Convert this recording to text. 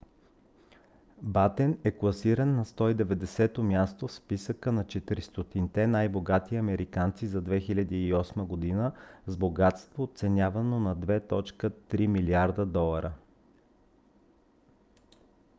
батен е класиран на 190-то място в списъка на 400-те най-богати американци за 2008 г. с богатство оценявано на 2,3 милиарда долара